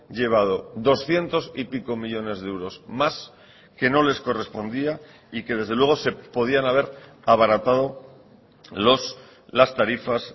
llevado doscientos y pico millónes de euros más que no les correspondía y que desde luego se podían haber abaratado las tarifas